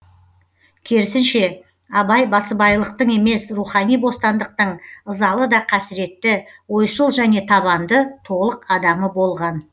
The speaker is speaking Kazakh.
керісінше абай басыбайлылықтың емес рухани бостандықтың ызалы да қасіретті ойшыл және табанды толық адамы болған